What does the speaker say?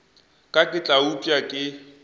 ka ke tla upša ke